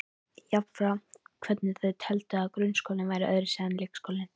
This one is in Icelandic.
Jafnframt hvernig þau teldu að grunnskólinn væri öðruvísi en leikskólinn.